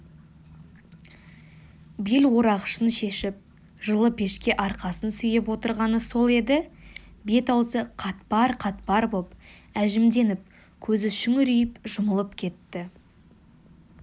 бел орағышын шешіп жылы пешке арқасын сүйеп отырғаны сол еді бет-аузы қатпар-қатпар боп әжімденіп көзі шүңірейіп жұмылып кетті